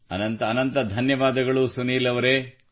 ಅನಂತ ಧನ್ಯವಾದಗಳು ಸುನಿಲ್ ಅವರೇ